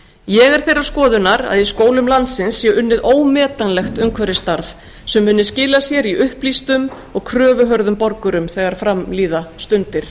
ég er þeirrar skoðunar að í skólum landsins sé unnið ómetanlegt umhverfisstarf sem muni skila sér í upplýstum og kröfuhörðum borgurum þegar fram líða stundir